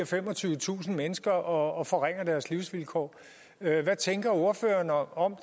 femogtyvetusind mennesker og forringer deres livsvilkår hvad tænker ordføreren om